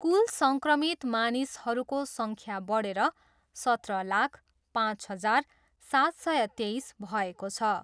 कुल सङ्क्रमित मानिसहरूको सङ्ख्या बढेर सत्र लाख, पाँच हजार, सात सय तेइस भएको छ।